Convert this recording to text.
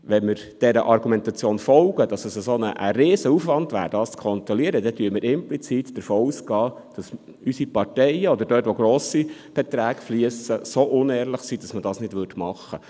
Wenn wir dieser Argumentation folgen, wonach es ein riesiger Aufwand wäre, dies zu kontrollieren, so gingen wir implizit davon aus, dass unsere Parteien, wenn grosse Beiträge flössen, so unehrlich wären, sich nicht daran zu halten.